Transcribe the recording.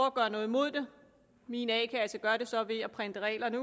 at gøre noget imod det min a kasse gør det så ved at printe reglerne